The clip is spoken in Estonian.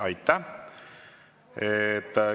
Aitäh!